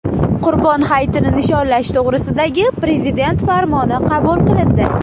Qurbon hayitini nishonlash to‘g‘risidagi Prezident farmoni qabul qilindi.